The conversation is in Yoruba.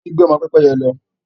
Omi gbẹ ọmọ Pẹ́pẹ́yẹ lọ